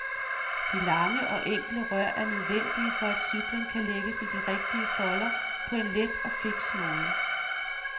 De lange og enkle rør er nødvendige for at cyklen kan lægges i de rigtige folder på en let og fiks måde.